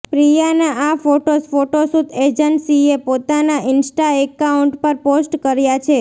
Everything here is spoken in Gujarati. પ્રિયાના આ ફોટોઝ ફોટોશૂટ એજન્સીએ પોતાના ઈન્સ્ટા એકાઉન્ટ પર પોસ્ટ કર્યાં છે